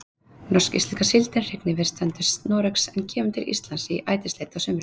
Norsk-íslenska síldin hrygnir við strendur Noregs en kemur til Íslands í ætisleit á sumrin.